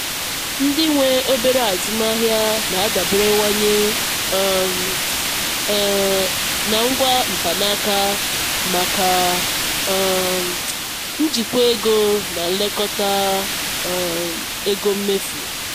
ndị nwe obere azụmaahịa na-adaberewanye um um na ngwa mkpanaka maka um njikwa ego na nlekota um ego mmefu.